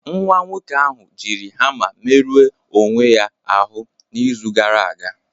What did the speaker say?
Nwa nwoke ahụ jiri hama merụọ onwe ya ahụ n'izu gara aga